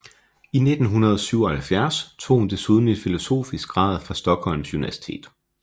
I 1977 tog hun desuden en filosofisk grad fra Stockholms universitet